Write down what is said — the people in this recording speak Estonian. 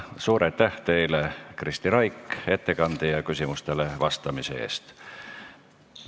Suur aitäh teile, Kristi Raik, ettekande ja küsimustele vastamise eest!